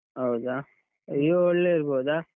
ಹೌದಾ? Vivo ಒಳ್ಳೇ ಇರ್ಬೋದಾ?